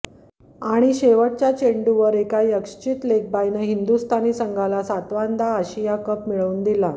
आणि शेवटच्या चेंडूवर एका यःकश्चित लेगबायनं हिंदुस्थानी संघाला सातव्यांदा आशिया कप मिळवून दिला